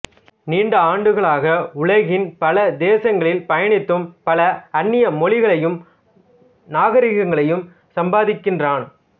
நீண்ட ஆண்டுகளாக உலகின் பல தேசங்களில் பயணித்தும் பல அந்நிய மொழிகளையும் நாகரீகங்களையும் சம்பாதித்திருக்கிறான்